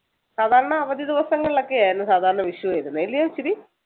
സാധാരണ അവധി ദിവസങ്ങളിലൊക്കെ ആയിരുന്നു സാധാരണ വിഷു വരുന്നത് അല്ലയോ ഇച്ചിരി?